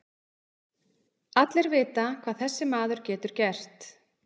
Allir vita hvað þessi maður getur gert.